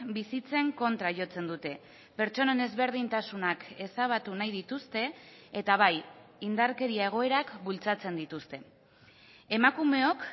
bizitzen kontra jotzen dute pertsonen ezberdintasunak ezabatu nahi dituzte eta bai indarkeria egoerak bultzatzen dituzte emakumeok